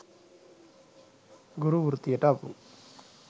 ගුරු වෘත්තියට අපු